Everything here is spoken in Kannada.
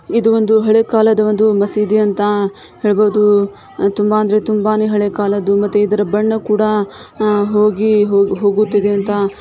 ಇದು ಒಂದು ಹಳೆ ಕಾಲದ ಒಂದು ಮಸೀದಿ ಅಂತ ಹೇಳ್ಬೋದು. ತುಂಬಾ ಅಂದ್ರೆ ತುಂಬಾನೇ ಹಳೆ ಕಾಲದ್ದು ಮತ್ತೆ ಇದರ ಬಣ್ಣ ಕೂಡ ಹೋಗಿ-ಹೋಗುತ್ತಿದೆ ಅಂತ--